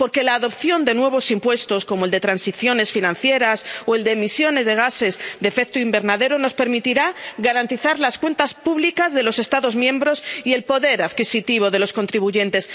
Porque la adopción de nuevos impuestos, como el de transiciones financieras o el de emisiones de gases de efecto invernadero, nos permitirá garantizar las cuentas públicas de los Estados miembros y el poder adquisitivo de los contribuyentes.